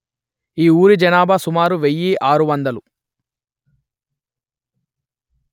ఈ ఊరి జనాభా సుమారు వెయ్యి ఆరు వందలు